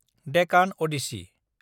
Deccan Odissi